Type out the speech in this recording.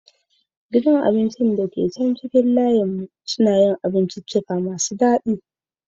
Gidan abinci da ke kasan titin mu na dafa abinci masu dadi.